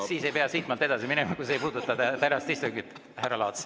Siis ei pea siitmaalt edasi minema, kui see ei puuduta tänast istungit, härra Laats.